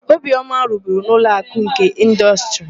Obiọma rụburu na Ụlọakụ nke Ịndọstrị.